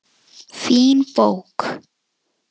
Fín bók.